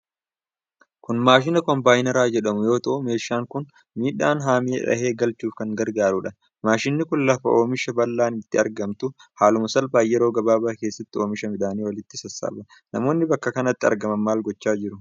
Kun maashina kombaayinara jedhamu yoo ta'u, meeshaan kun midhaan haamee dhahee galchuuf kan gargaarudha. Maashinni kun lafa oomishi bal'aan itti argamutti haaluma salphaan yeroo gabaabaa keessatti oomisha midhaanii walitti sassaaba. Namoonni bakka kanatti argaman maal gochaa jiru?